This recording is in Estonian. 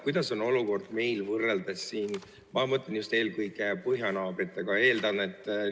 Milline on olukord meil võrreldes eelkõige põhjanaabritega?